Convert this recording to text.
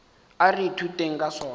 a re ithuteng ka sona